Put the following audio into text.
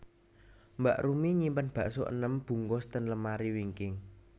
Mbak Rumi nyimpen bakso enem bungkus ten lemari wingking